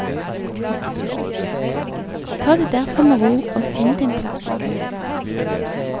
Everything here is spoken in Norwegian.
Ta det derfor med ro og finn din plass i køen.